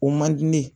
O man di ne ye